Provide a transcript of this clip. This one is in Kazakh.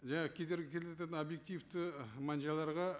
жаңағы кедергі келтіретін объективті мән жайларға